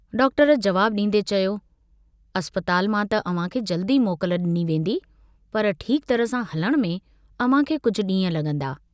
Doctor जवाबु डींदे चयो, "अस्पताल मां त अव्हांखे जल्दु ई मोकल डिनी वेन्दी पर ठीक तरह सां हलण में अव्हांखे कुझु डींह लगंदा।